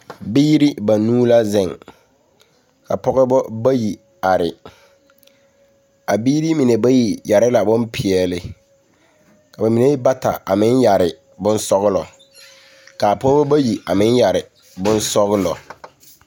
Biiri banuu la zeŋ ka pɔgeba bayi are a biiri mine bayi yɛre la bompeɛle ka ba mine bata s meŋ yɛre bonsɔglɔ k,a pɔgeba bayi a meŋ yɛre bonsɔglɔ.